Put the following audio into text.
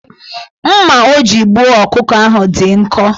Mma o ji egbu ọkụkọ ahụ dị nkọ